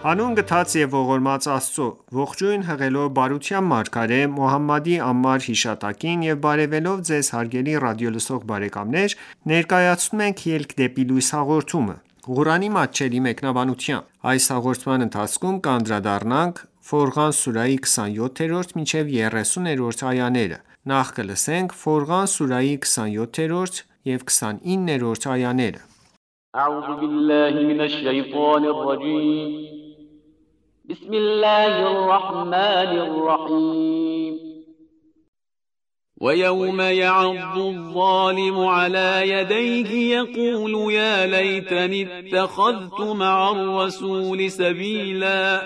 Հանուն գթած և ողորմած Աստծո:Ողջույն հղելով բարության մարգարե Մոհամմադի անմար հիշատակին եւ բարեւելով Ձեզ հարգելի ռադիոլսող բարեկամներ ներկայացնում ենք «Ելք դեպի լույս» հաղորդումը, Ղուրանի մատչելի մեկնաբանությամբ: Ֆորղան սուրահի 27-29-րդ այաներ وَیَوْمَ یَعَضُّ الظَّالِمُ عَلَى یَدَیْهِ یَقُولُ یَا لَیْتَنِی اتَّخَذْتُ مَعَ الرَّسُولِ سَبِیلًا